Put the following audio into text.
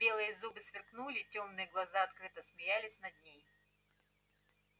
белые зубы сверкнули тёмные глаза открыто смеялись над ней